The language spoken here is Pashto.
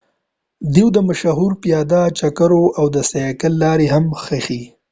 دوی د مشهورو د پیاده چکرو او د سایکل لارې هم ښيي